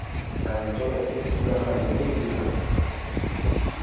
kantoro e thulaganyo e dirang